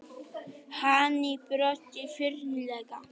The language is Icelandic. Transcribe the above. Hann brosti flírulega.